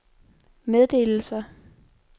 meddelelser